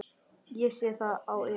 Ég sé það á yður.